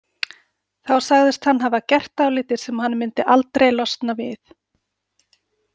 Þá sagðist hann hafa gert dálítið sem hann myndi aldrei losna við.